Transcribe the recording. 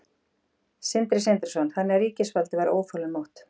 Sindri Sindrason: Þannig að ríkisvaldið var óþolinmótt?